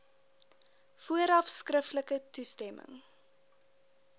vooraf skriftelik toestemming